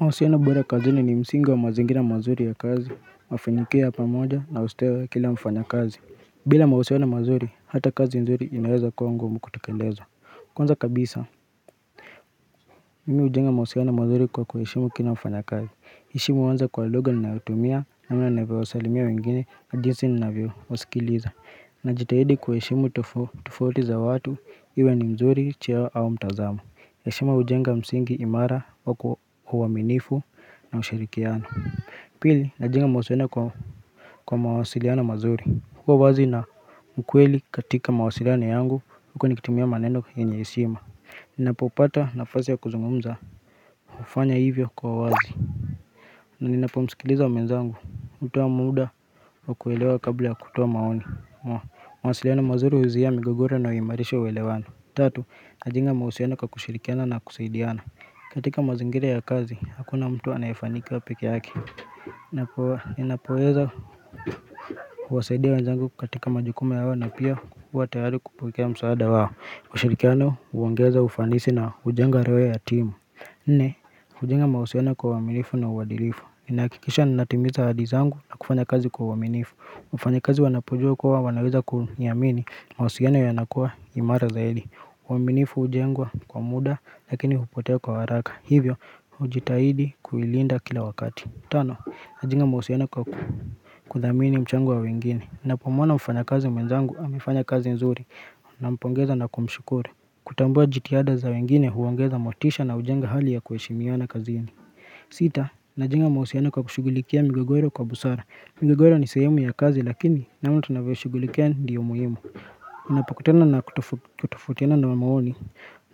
Mahusiana bora kazini ni msingi wa mazingina mazuri ya kazi, mafinikio ya pamoja na usteo ya kila mfanya kazi. Bila mahusiano mazuri, hata kazi nzuri inaeza kwa ngumu kutekeleza. Kwanza kabisa, mimi hujenga mahusiano mazuri kwa kwa heshimu kila mfanya kazi. Heshimu huanza kwa lugha ninayotumia namna navyowasalimia wengine na jinsi ninavyowasikiliza. Najitahidi kuheshimu tofauti za watu, iwe ni mzuri, cheo au mtazamu. Hesshima hujenga msingi imara kwa uaminifu na ushirikiano Pili najenga mahusiano kwa mawasiliano mazuri kuwa wazi na mkweli katika mawasiliano yangu huko nikitumia maneno yenye heshima Ninapopata nafasi ya kuzungumza hufanya hivyo kwa wazi na ninapomsikiliza mwenzangu hutoa muda wa kuelewa kabla ya kutoa maoni mawasiliana mazuri huzuhia migogoro na huimarisha uelewano Tatu, najenga mahusiano kwa kushirikiana na kusaidiana katika mazingira ya kazi, hakuna mtu anayefanikiwa peke yake Ninapoweza huwasaidia wanzangu katika majukumu yao na pia huwa tayari kupokea msaada wao ushirikiano huongeza ufanisi na hujenga roho ya timu Nne, hujenga mauhusiano kwa uaminifu na uadilifu Inahakikisha ninatimiza hadi zangu na kufanya kazi kwa uaminifu mfanyakazi wanapojua kuwa wanaweza kuniamini mahusiano yanakuwa imara zaidi uaminifu hujengwa kwa muda lakini hupotea kwa haraka Hivyo hujitahidi kuilinda kila wakati Tano, najwnga mahusiano kwa kudhamini mchango wa wengine Napomwona mfanyakazi mwenzangu, amefanya kazi nzuri Nampongeza na kumshukuru Kutambua jitihada za wengine huongeza motisha na hujenga hali ya kuheshimiana kazini Sita, najenga mahusiano kwa kushughulikia migogoro kwa busara migogoro ni sehemu ya kazi lakini kama tunavyoshughulikia ndiyo muhimu Unapokutana na kutofautiana na maoni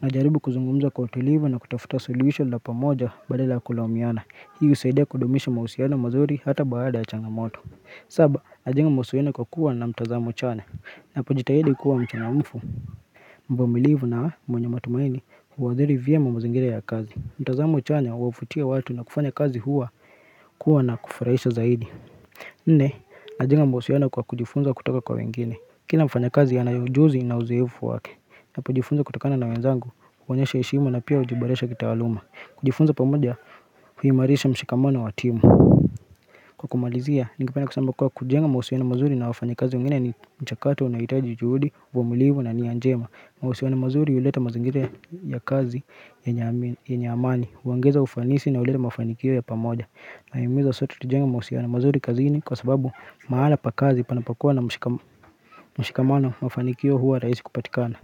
najaribu kuzungumza kwa utulivu na kutafuta suluhisho la pamoja badala ya kulaumiana Hii husaidia kudumisha mahusiano mazuri hata baada ya changamoto Saba, najenga mahusiano kwa kuwa na mtazamo chanya napojitahidi kuwa mchangamfu mvumilivu na mwenye matumaini huadhiri vyema mazingira ya kazi mtazamo chanya huwavutia watu na kufanya kazi huwa kuwa na kufurahisha zaidi Nne, najenga mahusiano kwa kujifunza kutoka kwa wengine Kila mfanyakazi ana ujuzi na uzoefu wake na kujifunza kutokana na wenzangu kuonyesha heshimu na pia hujiboresha kitaaluma kujifunza pamoja huimarisha mshikamano wa timu Kwa kumalizia, ningependa kusema kuwa kujenga mahusiano mazuri na wafanyakazi wengine ni mchakato unaohitaji juhudi, uvumilivu na nia njema mahusiano mazuri huleta mazingira ya kazi yenye amani huongeza ufanisi na huleta mafanikio ya pamoja Nahimiza sote tujenga mahusiano mazuri kazini kwa sababu mahala pa kazi panapokua na mshikamano mafanikio huwa rahisi kupatikana.